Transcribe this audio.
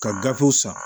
Ka gafew san